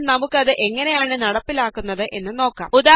ഇപ്പോള് നമുക്ക് അത് എങ്ങനെയാണ് നടപ്പിലാകുന്നത് എന്ന് നോക്കാം